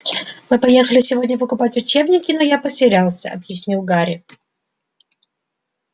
мы поехали сегодня покупать учебники но я потерялся объяснил гарри